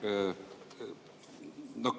Üllar!